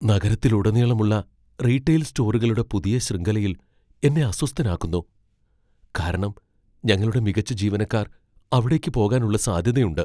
നഗരത്തിലുടനീളമുള്ള retail സ്റ്റോറുകളുടെ പുതിയ ശൃംഖലയിൽ എന്നെ അസ്വസ്ഥനാക്കുന്നു ,കാരണം ഞങ്ങളുടെ മികച്ച ജീവനക്കാർ അവിടേക്ക് പോകാൻ ഉള്ള സാധ്യത ഉണ്ട്.